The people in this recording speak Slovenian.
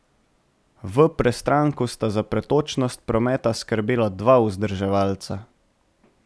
V Prestranku sta za pretočnost prometa skrbela dva vzdrževalca.